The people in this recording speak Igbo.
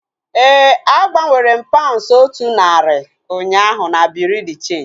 Éè, a gbanwere m paunds otu narị ụnyaahụ na bureau de cheenji